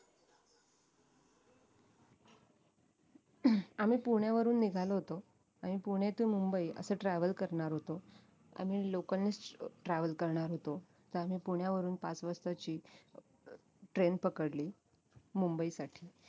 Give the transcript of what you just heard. आम्ही पुण्यावरून निघालो होतो आणि पुणे to मुंबई असं travel करणार होतो आणि local नीच travel करणार होतो तर आम्ही पुण्यावरून पाच वाजताची train पकडली मुंबईसाठी